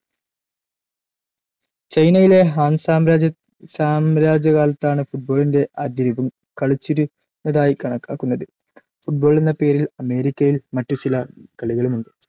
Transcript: ചൈനയിലെ ഹാൻ സാമ്രാജ്യസാമ്രാജ്യകാലത്താണ് ഫുട്ബോളിന്റെ ആദ്യരൂപം കളിച്ചിരുന്നതായി കണക്കാക്കുന്നത്. football എന്ന പേരിൽ അമേരിക്കയിൽ മറ്റു ചില കളികളുമുണ്ട്‌.